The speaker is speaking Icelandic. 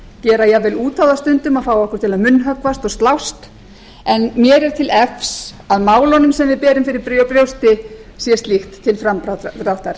gera jafnvel út á það stundum að fá okkur til að munnhöggvast og slást en mér er til efs að málunum sem við berum fyrir brjósti sé slíkt til framdráttar það er